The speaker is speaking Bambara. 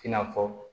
I n'a fɔ